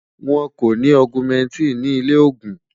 wón kò ní augumentin ní ilè ògún